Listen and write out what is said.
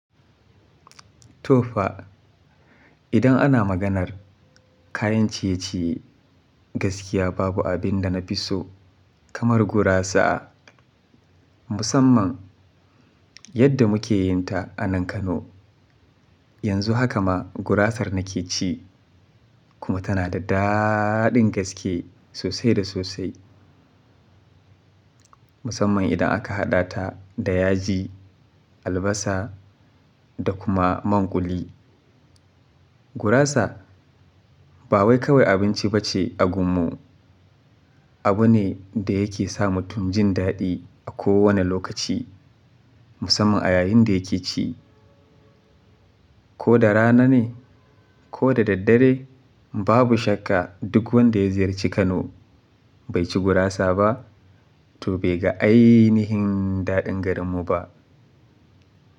To fa, idan ana maganar kayan ciye-ciye gaskiya babu abin da na fi so kamar gurasa. Musamman yadda muke yin ta a nan Kano. Yanzu haka ma gurasar nake ci kuma tana da daaɗin gaske sosai da sosai. Musamman idan aka haɗa ta da yaji, albasa da kuma manƙuli. Gurasa ba wai kawai abinci bace a gunmu, abu ne da yake sa mutum jin daɗi a kowane lokaci musamman a yayin da yake ci. Ko da rana ne ko da daddare babu shakka duk wanda ya ziyarci Kano bai ci gurasa ba to bai ga ainihin daɗin garinmu ba.